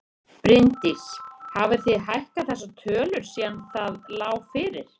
Bryndís: Hafið þið hækkað þessar tölur síðan það lá fyrir?